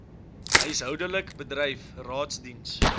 huishoudelik bedryf raadsdiens